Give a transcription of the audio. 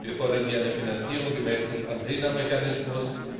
Wir fordern hier eine Finanzierung gemäß dem Athener Mechanismus.